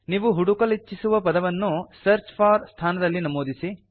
ನೀವು ಹುಡುಕಲಿಚ್ಛಿಸುವ ಪದವನ್ನು ಸರ್ಚ್ ಫೋರ್ ಸ್ಥಾನದಲ್ಲಿ ನಮೂದಿಸಿ